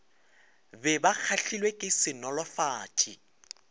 be ba kgahlilwe ke senolofatša